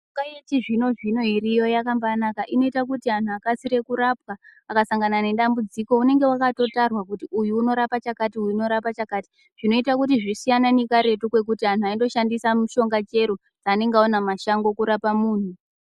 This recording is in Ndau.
Mishonga yechizvino-zvino iriyo yakambanaka inoite kuti vantu vakasire kurapwa akasangana nedambudziko vanenge vakatotarwa kuti uyu unorapa chakati, uyu unorapa chakati. Zvinoita kuti zvisiyane nekaretu nekuti antu aindoshandisa mishonga chero dzaanenga aona mumashango kurapa muntu.